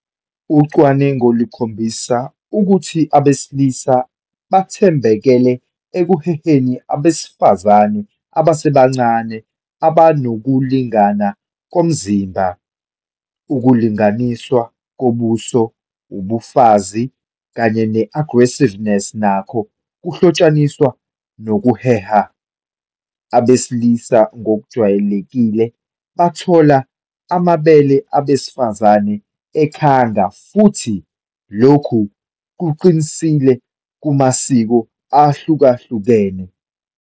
Ucwaningo lukhombisa ukuthi abesilisa bathambekele ekuheheni abesifazane abasebancane abanokulingana komzimba. Ukulinganiswa kobuso, ubufazi, kanye ne-averageness nakho kuhlotshaniswa nokuheha. Abesilisa ngokujwayelekile bathola amabele abesifazane ekhanga futhi lokhu kuqinisile kumasiko ahlukahlukene.